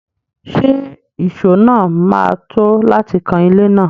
Ṣé ìṣó náà máa tó láti kan ilé náà?